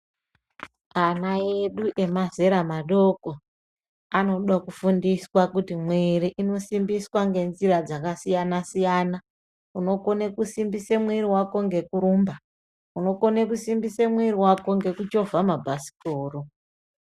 Ana edu emazera madoko anoda kufundiswa kuti mwiri inosimbiswa ngenzira dzakasiyana-siyana, unokone kusimbisa mwiri vako ngekurumba. Unokone kusimbisa mwiri vako ngekuchovha mabhasikoro.